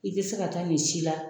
I te se ka taa nin si la